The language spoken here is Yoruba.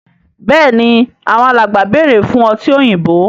Béèni Àwọn alàgbà bẹrẹ fún ọtí òyìnbó.